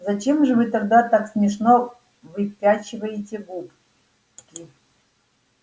зачем же вы тогда так смешно выпячиваете губки